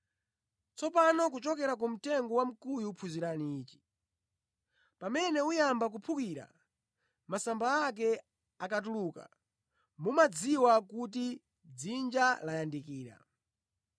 “Tsopano kuchokera ku mtengo wamkuyu phunzirani ichi: Pamene uyamba kuphukira, masamba ake akatuluka, mumadziwa kuti dzinja layandikira.